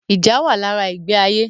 Ìjà wà lára ìgbé ayé